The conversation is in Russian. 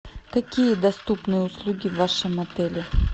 какие доступные услуги в вашем отеле